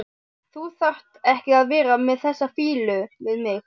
Þú þarft ekki að vera með þessa fýlu við mig.